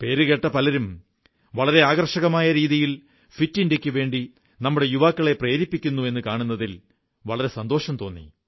പേരുകേട്ട പലരും വളരെ ആകർഷകമായ രീതിയിൽ ഫിറ്റ് ഇന്ത്യയ്ക്കുവേണ്ടി നമ്മുടെ യുവാക്കളെ പ്രേരിപ്പിക്കുന്നു എന്നു കാണുന്നതിൽ വളരെ സന്തോഷം തോന്നി